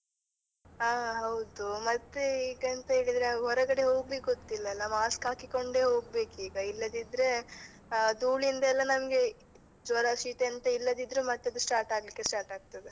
ಹಾ ಹೌದು. ಮತ್ತೆ ಈಗೆಂತ ಹೇಳಿದ್ರೆ ಹೊರಗಡೆ ಹೋಗ್ಲಿಕ್ ಗೊತ್ತಿಲ್ಲ ಅಲ್ಲ mask ಹಾಕಿಕೊಂಡೇ ಹೋಗ್ಬೇಕೀಗ ಇಲ್ಲದಿದ್ರೆ ಆ ಧೂಳಿಂದ ಎಲ್ಲ ನಮಗೆ ಜ್ವರ ಶೀತ ಎಂತ ಇಲ್ಲದಿದ್ರೂ ಮತ್ತೆ ಅದು start ಆಗ್ಲಿಕ್ಕೆ start ಆಗ್ತದೆ.